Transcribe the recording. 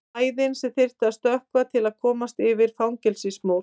Hæðin sem þyrfti að stökkva til að komast yfir fangelsismúr.